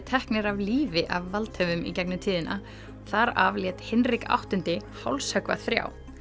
teknir af lífi af valdhöfum í gegnum tíðina þar af lét Hinrik áttundi hálshöggva þrjá